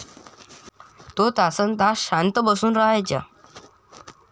तो तासन् तास शांत बसून रहायचा.